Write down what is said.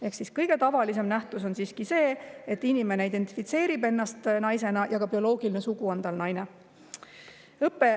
Ehk siis kõige tavalisem nähtus on siiski see, et inimene identifitseerib ennast naisena ja ka tema bioloogiline sugu on naine.